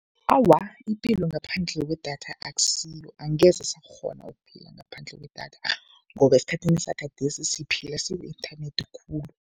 Awa, ipilo ngaphandle kwedatha akusiyo. Angeze sakghona ukuphila ngaphandle kwedatha ngoba esikhathini sagadesi siphila siku-inthanethi khulu.